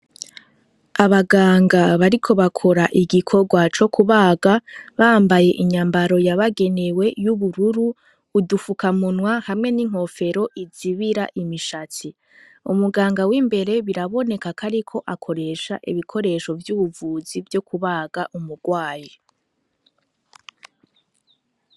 Abaganga bariko bakora igikorwa co kubaga bambaye inyambaro yabagenewe y'ubururu udufuka munwa hamwe n'inkofero izibira imishatsi umuganga w'imbere biraboneka kariko akoresha ibikoresho vy'ubuvuzi vyo kubaga umurwaye tizazdzizia.